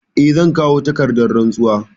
Eh, zan kawo takardar rantsuwa.